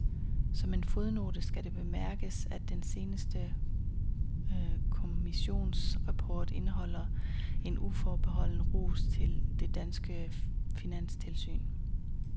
Som en fodnote skal det bemærkes, at den seneste kommissions rapport indeholder en uforbeholden ros til det danske finanstilsyn.